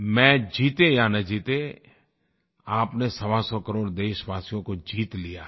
match जीते या न जीते आप ने सवासौ करोड़ देशवासियों को जीत लिया है